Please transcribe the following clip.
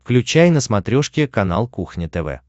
включай на смотрешке канал кухня тв